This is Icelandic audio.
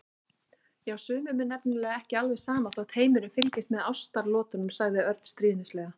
Já, sumum er nefnilega ekki alveg sama þótt heimurinn fylgist með ástaratlotunum sagði Örn stríðnislega.